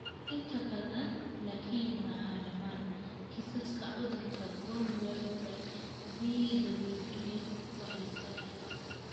Inta badan, laakiin maaha dhammaan, kiisaska cudurka von Willebrand (VWD) waa la iska dhaxlo.